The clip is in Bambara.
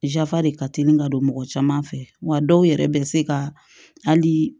Yafa de ka teli ka don mɔgɔ caman fɛ wa dɔw yɛrɛ bɛ se ka hali